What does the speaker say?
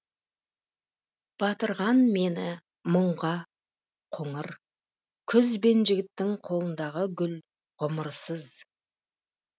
батырған мені мұңға қоңыр күз бен жігіттің қолындағы гүл ғұмырсыз